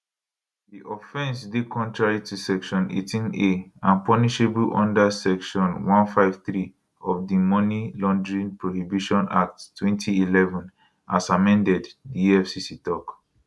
di offence dey contrary to section 18a and punishable under section 153 of di money laundering prohibition act 2011 as amended di efcc tok